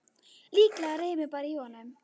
Líklega rymur bara í honum.